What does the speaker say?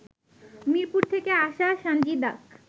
মিরপুর থেকে আসা সানজিদাক